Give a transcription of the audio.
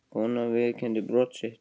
Konan viðurkenndi brot sitt